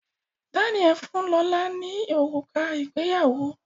Daniel fún lọla òrùka ìgbéyàwó